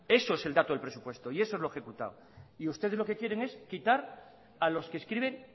eso es el dato del presupuesto y eso es lo ejecutado y ustedes lo que quieren es quitar a los que escriben